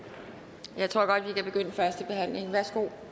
så at vi kan begynde førstebehandlingen værsgo